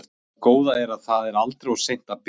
En það góða er að það er aldrei of seint að byrja.